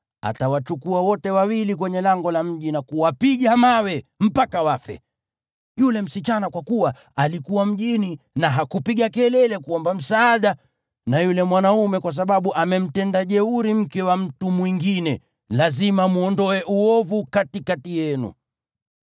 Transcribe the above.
utawachukua wote wawili kwenye lango la mji na kuwapiga kwa mawe mpaka wafe; yule msichana kwa kuwa alikuwa mjini na hakupiga kelele kuomba msaada, na yule mwanaume kwa sababu amemtenda jeuri mke wa mtu mwingine. Lazima mwondoe uovu katikati yenu.